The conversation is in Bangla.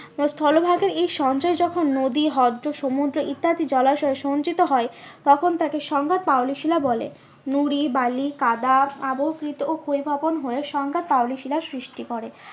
স্থলভাগের এই সঞ্চয় যখন নদী হ্রদ সমুদ্র ইত্যাদি জলাশয় সঞ্চিত হয় তখন তাকে সংজ্ঞা পাললিক শিলা বলে। নুড়ি বালি কাদা অবকৃত ও ক্ষয়ীভবন হয়ে সংজ্ঞা পাললিক শিলার সৃষ্টি করে